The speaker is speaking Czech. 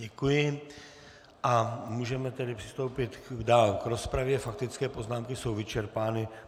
Děkuji a můžeme tedy přistoupit dál k rozpravě, faktické poznámky jsou vyčerpány.